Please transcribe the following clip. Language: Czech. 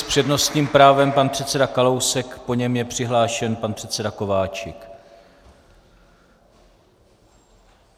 S přednostním právem pan předseda Kalousek, po něm je přihlášen pan předseda Kováčik.